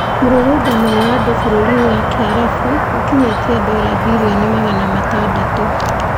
Mũrũrũngano wa andũ bũrũrìnì wa Kiarabu ĩkinyete dollar billioni magana atandatũ